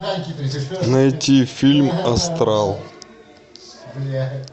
найти фильм астрал